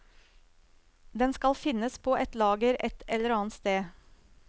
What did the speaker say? Den skal finnes på et lager ett eller annet sted.